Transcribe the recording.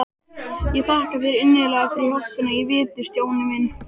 Ég þakka þér innilega fyrir hjálpina í vetur, Stjáni minn.